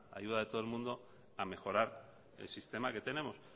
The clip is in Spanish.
ayuda de todo el mundo a mejorar el sistema que tenemos